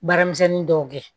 Baaramisɛnnin dɔw kɛ